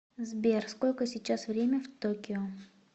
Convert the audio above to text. сбер сколько сейчас время в токио